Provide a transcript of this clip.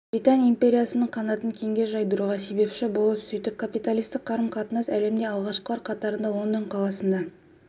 британ империясының қанатын кеңге жайдыруға себепші болған сөйтіп капиталистік қарым-қатынас әлемде алғашқылар қатарында лондон қаласында